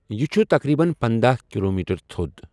یہِ چھُ تقریباً پندہَ کلومیٹر تھوٚد۔